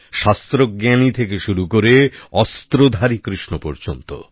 শাস্ত্রজ্ঞানী থেকে শুরু করে অস্ত্রধারী কৃষ্ণ পর্যন্ত